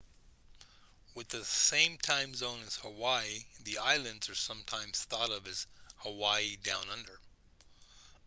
with the same time zone as hawaii the islands are sometimes thought of as hawaii down under